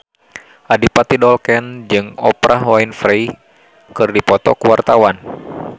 Adipati Dolken jeung Oprah Winfrey keur dipoto ku wartawan